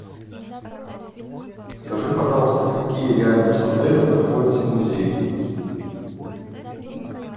скажи пожалуйста какие рядом с отелем находятся музеи